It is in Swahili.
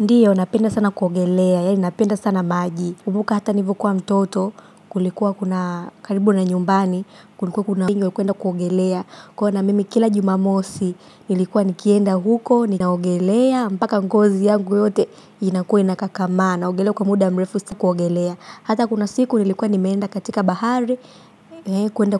Ndiyo, napenda sana kuogelea, yaani napenda sana maji. Kumbuka hata nilipokuwa mtoto, kulikuwa kuna karibu na nyumbani, kulikuwa kuna ingyo, kuenda kuogelea. Kwa hiyo na mimi kila Jumamosi, nilikuwa nikienda huko, ninaogelea, mpaka ngozi yangu yote, inakuwa inakakamaa. Naogelewa kwa muda mrefu si kuogelea. Hata kuna siku, nilikuwa nimeenda katika bahari, kuenda